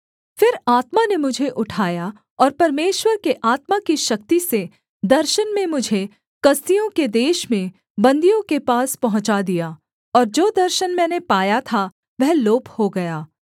फिर आत्मा ने मुझे उठाया और परमेश्वर के आत्मा की शक्ति से दर्शन में मुझे कसदियों के देश में बन्दियों के पास पहुँचा दिया और जो दर्शन मैंने पाया था वह लोप हो गया